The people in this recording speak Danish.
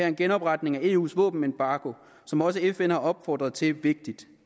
en genopretning af eus våbenembargo som også fn har opfordret til vigtig